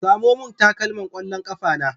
Samo min takalman ƙwallon ƙafa na